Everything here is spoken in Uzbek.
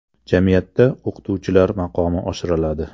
Jamiyatda o‘qituvchilar maqomi oshiriladi.